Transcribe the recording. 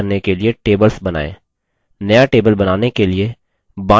आगे data को संचित करने के लिए tables बनाएँ